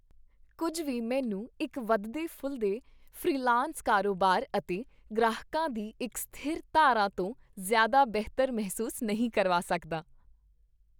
ਕੁੱਝ ਵੀ ਮੈਨੂੰ ਇੱਕ ਵੱਧਦੇ ਫੁੱਲਦੇ ਫ੍ਰੀਲਾਂਸ ਕਾਰੋਬਾਰ ਅਤੇ ਗ੍ਰਾਹਕਾਂ ਦੀ ਇੱਕ ਸਥਿਰ ਧਾਰਾ ਤੋਂ ਜ਼ਿਆਦਾ ਬਿਹਤਰ ਮਹਿਸੂਸ ਨਹੀਂ ਕਰਵਾ ਸਕਦਾ